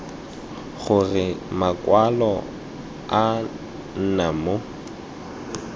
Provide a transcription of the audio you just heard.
gore makwalo a nna mo